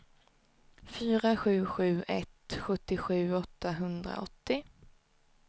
fyra sju sju ett sjuttiosju åttahundraåttio